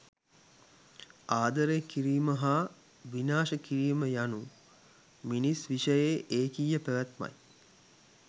ආදරය කිරීම හා විනාශ කිරීම යනු මිනිස් විෂයේ ඒකීය පැවැත්මයි.